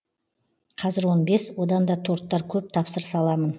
қазір он бес одан да торттар көп тапсырыс аламын